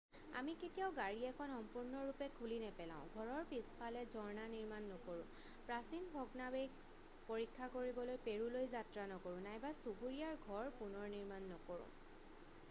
আমি কেতিয়াও গাড়ী এখন সম্পূৰ্ণৰূপে খুলি নেপেলাও ঘৰৰ পিছফালে ঝৰ্ণা নিৰ্মাণ নকৰো প্ৰাচীন ভগ্নাৱশেষ পৰীক্ষা কৰিবলৈ পেৰুলৈ যাত্ৰা নকৰোঁ নাইবা চুবুৰীয়াৰ ঘৰ পুনৰনিৰ্মাণ নকৰো